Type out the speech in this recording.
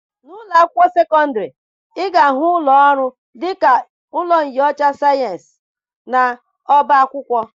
N'ụlọ akwụkwọ sekọndịrị, ị ga-ahụ ụlọ ọrụ dịka ụlọ nnyocha sayensị, na ọba akwụkwọ.